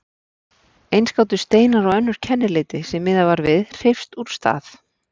Eins gátu steinar og önnur kennileiti, sem miðað var við, hreyfst úr stað.